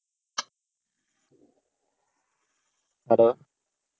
Hello.